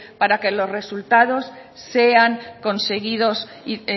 para que